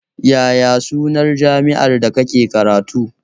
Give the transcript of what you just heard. Yaya sunan jami'ar da kake karatu?